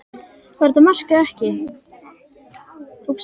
Var þetta mark eða ekki?